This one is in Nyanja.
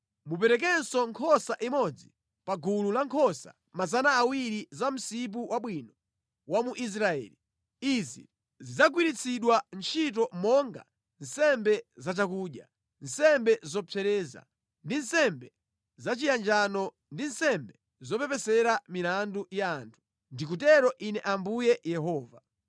Muperekenso nkhosa imodzi pa gulu lankhosa 200 za pa msipu wabwino wa mu Israeli. Izi zidzagwiritsidwa ntchito monga nsembe za chakudya, nsembe zopsereza, ndi nsembe zachiyanjano ndi nsembe zopepesera milandu ya anthu. Ndikutero Ine Ambuye Yehova.